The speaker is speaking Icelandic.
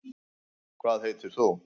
hvað heitir þú